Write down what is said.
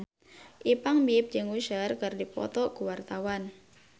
Ipank BIP jeung Usher keur dipoto ku wartawan